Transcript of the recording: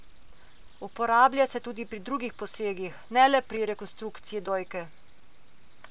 Uporablja se tudi pri drugih posegih, ne le pri rekonstrukciji dojke.